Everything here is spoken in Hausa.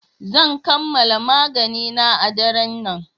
Zan kammala maganina a daren nan.